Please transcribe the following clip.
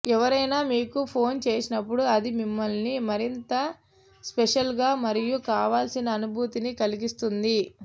ఎవరైనా మీకు ఫోన్ చేసినప్పుడు అది మిమ్మల్ని మరింత స్పెషల్ గా మరియు కావాల్సిన అనుభూతిని కలిగిస్తుంది